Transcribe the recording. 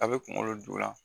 A bɛ kunkolo dugu ya.